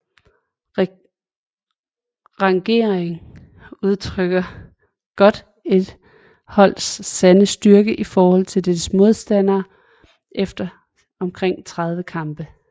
Rangeringen udtrykker godt et holds sande styrke i forhold til dets modstandere efter omkring 30 kampe